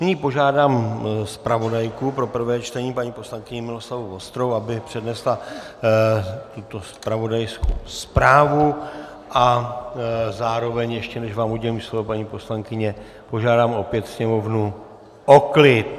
Nyní požádám zpravodajku pro prvé čtení, paní poslankyni Miloslavu Vostrou, aby přednesla tuto zpravodajskou zprávu a zároveň, ještě než vám udělím slovo, paní poslankyně, požádám opět sněmovnu o klid.